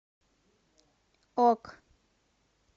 ок